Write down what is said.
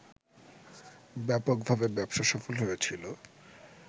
ব্যাপকভাবে ব্যবসাসফল হয়েছিল